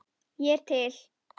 Ég er til.